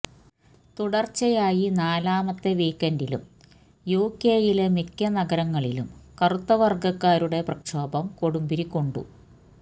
തുടർച്ചയായി നാലാമത്തെ വീക്കെൻഡിലും യുകെയിലെ മിക്ക നഗരങ്ങളിലും കറുത്ത വർഗക്കാരുടെ പ്രക്ഷോഭം കൊടുമ്പിരിക്കൊണ്ടു